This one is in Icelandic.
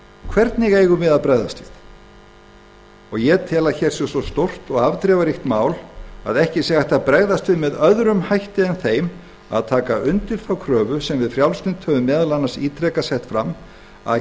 hvernig eigum við að bregðast við ég tel að hér sé svo stórt og afdrifaríkt mál að ekki sé hægt að bregðast við með öðrum hætti en þeim að taka undir þá kröfu sem við frjálslynd höfum meðal annars ítrekað sett fram að